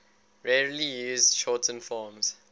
rarely used shortened forms